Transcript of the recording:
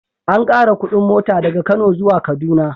An ƙara kuɗin mota daga Kano zuwa Kaduna.